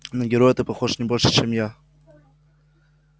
на героя ты похож не больше чем я